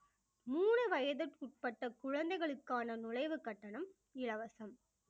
மூணு வயதுக்குட்பட்ட குழந்தைகளுக்கான நுழைவு கட்டணம் இலவசம்